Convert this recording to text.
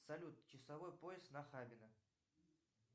салют часовой пояс нахабино